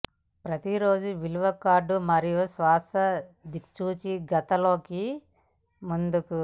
ప్రతి రోజు విలువ కార్డు మరియు శాశ్వత దిక్సూచి గత లోకి ముందుకు